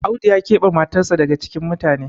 Audu ya kebe matarsa daga cikin mutane